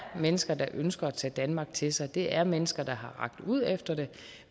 mennesker der ønsker at tage danmark til sig at det er mennesker der har rakt ud efter det